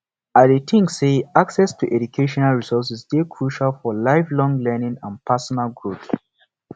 i dey think say access to educational resources dey crucial for lifelong learning and pesinal growth